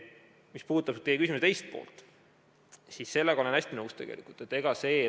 Mis puudutab teie küsimuse teist poolt, siis sellega olen ma hästi nõus.